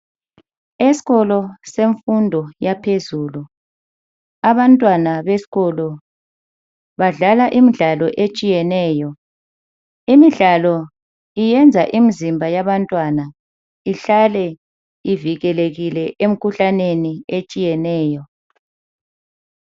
Esikolo semfundo yaphezulu abantwana besikolo badlala imidlalo etshiyeneyo imidlalo iyenza imizimba yabantwana ihlale ivikelekile emikhuhlaneni etshiyeneyo.